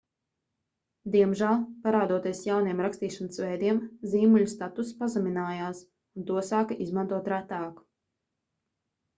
diemžēl parādoties jauniem rakstīšanas veidiem zīmuļa statuss pazeminājās un to sāka izmantot retāk